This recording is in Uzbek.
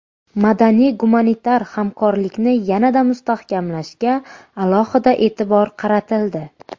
Madaniy-gumanitar hamkorlikni yanada mustahkamlashga alohida e’tibor qaratildi.